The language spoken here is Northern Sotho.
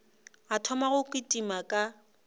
a thoma go kitima ka